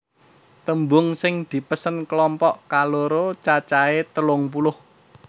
Tembung sing dipesen klompok kaloro cacahé telung puluh